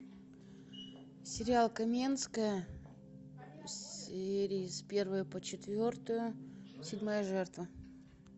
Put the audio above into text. сериал каменская серии с первой по четвертую седьмая жертва